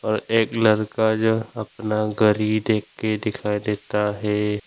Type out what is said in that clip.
और एक लड़का जो अपना गरी देख के दिखाई देता है।